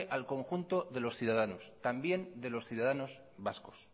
al conjunto de los ciudadanos también de los ciudadanos vascos